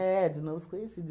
de novos conhecidos.